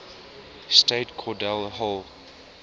state cordell hull